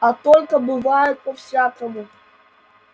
а только бывает по-всякому